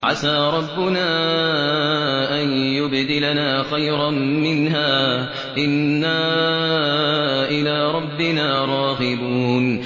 عَسَىٰ رَبُّنَا أَن يُبْدِلَنَا خَيْرًا مِّنْهَا إِنَّا إِلَىٰ رَبِّنَا رَاغِبُونَ